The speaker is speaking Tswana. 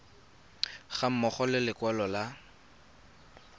ga mmogo le lekwalo la